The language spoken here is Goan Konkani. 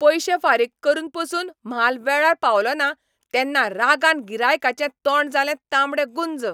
पयशे फारीक करून पासून म्हाल वेळार पावलो ना तेन्ना रागान गिरायकांचें तोंड जालें तांबडेंगुंज.